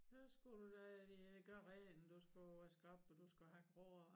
Så skulle du da øh gøre rent og du skulle vaske op og du skulle hakke roer